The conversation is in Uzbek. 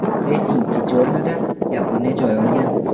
Reyting ikkinchi o‘rnidan Yaponiya joy olgan.